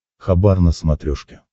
хабар на смотрешке